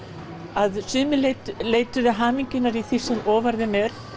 að sumir leituðu hamingjunnar í því sem ofan þeim er